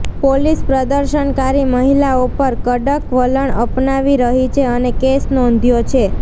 police પ્રદર્શનકારી મહિલાઓ પર કડક વલણ અપનાવી રહી છે અને કેસ નોંધ્યો છે